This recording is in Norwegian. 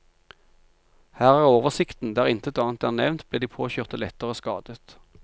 Her er oversikten, der intet annet er nevnt, ble de påkjørte lettere skadet.